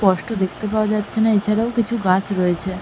স্পষ্ট দেখতে পাওয়া যাচ্ছে না এছাড়াও কিছু গাছ রয়েছে।